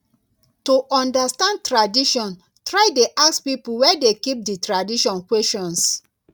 to understand tradition try de ask pipo wey de keep di tradition questions